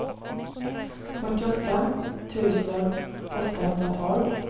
fyrtioåtta tusen åttahundratolv